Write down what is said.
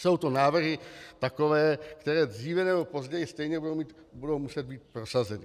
Jsou to návrhy takové, které dříve nebo později stejně budou muset být prosazeny.